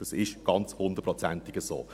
Das ist ganz hundertprozentig so.